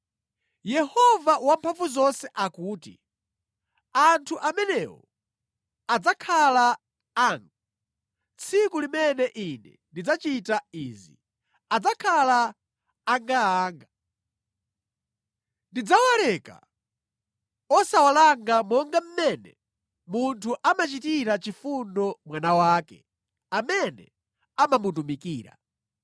Yehova Wamphamvuzonse akuti, “Anthu amenewo adzakhala anga, tsiku limene Ine ndidzachita izi, adzakhala angaanga. Ndidzawaleka osawalanga monga mmene munthu amachitira chifundo mwana wake amene amamutumikira.